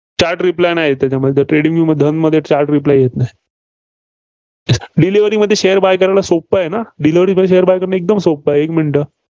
Chat Reply येत नाही. trading view मध्ये धनमध्ये chat reply येत नाही. delivery मध्ये share buy करायला सोपं आहे ना? delivery मध्ये share buy करणं एकदम सोपं आहे. एक minue